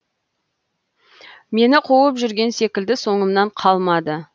мені қуып жүрген секілді соңымнан қалмады